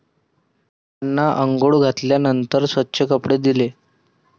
त्यांना आंघोळ घातल्यानंतर स्वच्छ कपडे दिले.